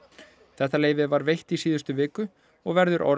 þetta leyfi var veitt í síðustu viku og verður